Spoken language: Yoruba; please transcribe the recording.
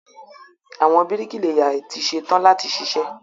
Àwọn bíríkílẹ́yà ti ṣẹtan láti ṣiṣẹ́.